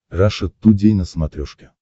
раша тудей на смотрешке